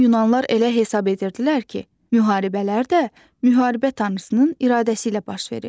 Qədim yunanlar elə hesab edirdilər ki, müharibələr də müharibə tanrısının iradəsi ilə baş verir.